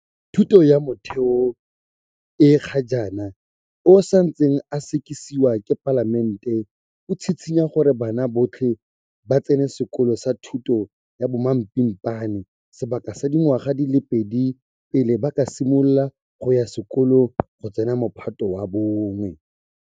Thuto ya Motheo o ga jaana o santseng o sekasekiwa ke Palamente o tshitshinya gore bana botlhe ba tsene sekolo sa thuto ya bomapimpana sebaka sa dingwaga di le pedi pele ba ka simolola go ya sekolong go tsena Mophato wa 1.